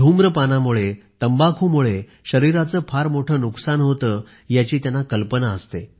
धुम्रपानामुळे तंबाखूमुळे शरीराचे फार मोठे नुकसान होते याची त्यांना कल्पना असते